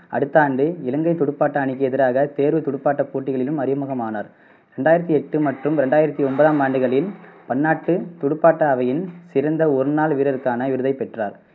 அடுத்த ஆண்டு இலங்கைத் துடுப்பாட்ட அணிக்கு எதிராக தேர்வுத் துடுப்பாட்டப் போட்டிகளிலும் அறிமுகமானார். ரெண்டாயிரத்தி எட்டு மற்றும் ரெண்டாயிரத்தி ஒன்பதாம் ஆண்டுகளில் பன்னாட்டுத் துடுப்பாட்ட அவையின் சிறந்த ஒரு நாள் வீரருக்கான விருதைப் பெற்றார்.